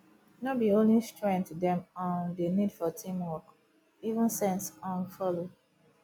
no be only strength dem um dey need for teamwork even sense um follow